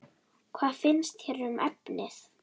Hvað finnst þér um efnið?